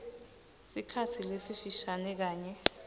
sikhatsi lesifishane kanye